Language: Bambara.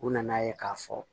U nana ye k'a fɔ